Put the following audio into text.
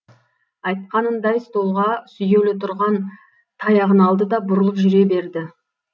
айтқанындай столға сүйеулі тұрған таяғын алды да бұрылып жүре берді